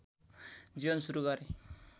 जीवन सुरू गरे